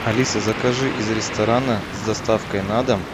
алиса закажи из ресторана с доставкой на дом